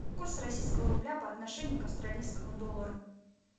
курс российского рубля по отношению к австралийскому доллару